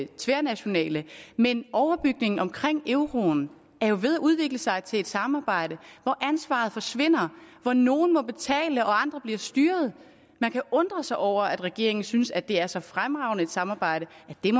tværnationale men overbygningen omkring euroen er jo ved at udvikle sig til et samarbejde hvor ansvaret forsvinder hvor nogle må betale og andre bliver styret man kan undre sig over at regeringen synes at det er så fremragende et samarbejde